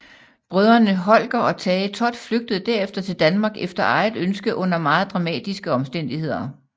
Brødrene Holger og Tage Thott flygtede derefter til Danmark efter eget ønske under meget dramatiske omstændigheder